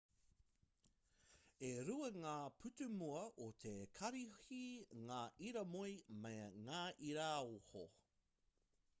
e rua ngā pūtūmua o te karihi ngā iramoe me ngā iraoho